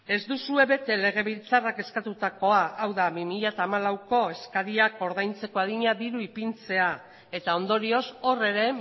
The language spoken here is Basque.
ez duzue bete legebiltzarrak eskatutako hau da bi mila hamalauko eskariak ordaintzeko adina diru ipintzea eta ondorioz hor ere